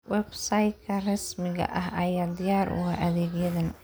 Website-ka rasmiga ah ayaa diyaar u ah adeegyadan.